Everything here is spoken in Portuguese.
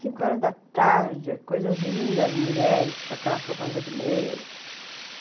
Cinco horas da tarde, coisas lindas, mulheres com aquelas roupas vermelhas.